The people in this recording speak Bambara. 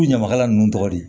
U ɲamakala ninnu tɔgɔ di